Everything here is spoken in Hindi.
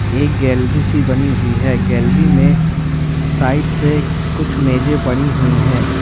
एक गैलरी सी बनी हुई है गैलरी में साइड से कुछ मेजे पड़ी हुई है।